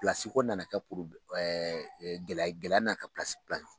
ko nana kɛ gɛlɛya nana kɛ